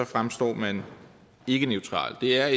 fremstår man ikke neutralt det er